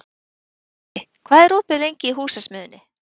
Patti, hvað er opið lengi í Húsasmiðjunni?